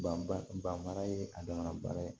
Banba banfara ye a damana baara ye